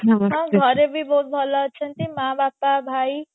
ମୋ ଘରେ ବି ବହୁତ ଭଲ ଅଛନ୍ତି ମା ବାପା ଭାଇ